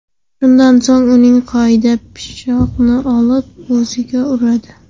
Shundan so‘ng uning qo‘lidan pichoqni olib, o‘ziga uradi.